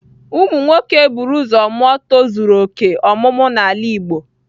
Ụmụ nwoke eburu ụzọ mụọ tozuru oke ọmụmụ n'ala Igbo.